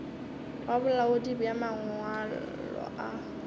wa bolaodi bja mangwalo a